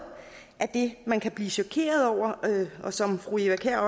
af det man kan blive chokeret over og som fru eva kjer